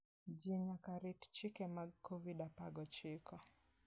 Ji nyaka rit chike mag Covid apar gochiko.